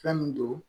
Fɛn min don